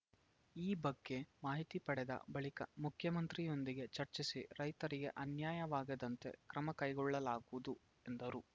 ಈ ಬಗ್ಗೆ ಮಾಹಿತಿ ಪಡೆದ ಬಳಿಕ ಮುಖ್ಯಮಂತ್ರಿಯೊಂದಿಗೆ ಚರ್ಚಿಸಿ ರೈತರಿಗೆ ಅನ್ಯಾಯವಾಗದಂತೆ ಕ್ರಮ ಕೈಗೊಳ್ಳಲಾಗುವುದು ಎಂದರು